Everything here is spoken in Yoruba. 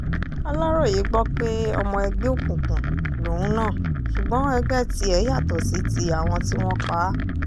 aláròye gbọ́ pé ọmọ ẹgbẹ́ òkùnkùn lòun náà ṣùgbọ́n ẹgbẹ́ tiẹ̀ yàtọ̀ sí ti àwọn tí wọ́n pa á